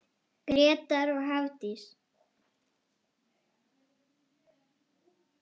Grétar og Hafdís.